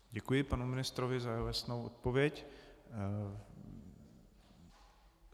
Děkuji panu ministrovi za jeho jasnou odpověď.